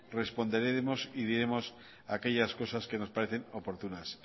responderemos y diremos aquellas cosas que nos parecen oportunas